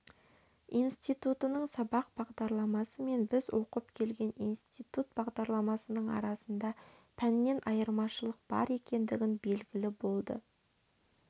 институтының сабақ бағдарламасы мен біз оқып келген институт бағдарламасының арасында пәннен айырмашылық бар екендігі белгілі болды